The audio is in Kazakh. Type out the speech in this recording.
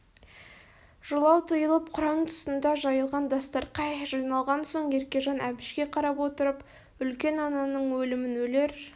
жылау тыйылып құран тұсында жайылған дастарқай жиналған соң еркежан әбішке қарап отырып үлкен ананың өлімін өлер